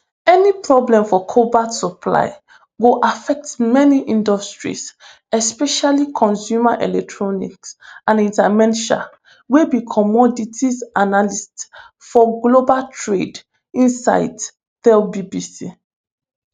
any problem for cobalt supply go affect many industries especially consumer electronics anita mensah wey be commodities analyst for global trade insights tell bbc